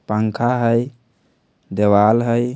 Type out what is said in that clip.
पंखा हय देवाल हय।